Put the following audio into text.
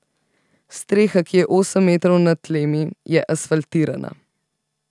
Streha, ki je osem metrov na tlemi, je asfaltirana.